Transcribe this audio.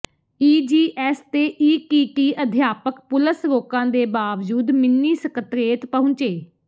EGS ਤੇ ETT ਅਧਿਆਪਕ ਪੁਲਸ ਰੋਕਾਂ ਦੇ ਬਾਵਜੂਦ ਮਿੰਨੀ ਸਕੱਤਰੇਤ ਪਹੰੁਚੇ